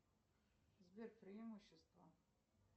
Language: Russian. сбер преимущества